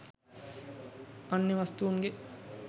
අන්‍ය වස්තූන් ගේ